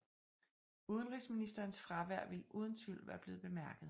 Udenrigsministerens fravær ville uden tvivl være blevet bemærket